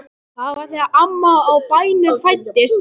Það var þegar amman á bænum fæddist.